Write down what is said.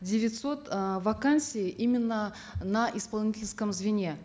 девятьсот э вакансий именно на исполнительском звене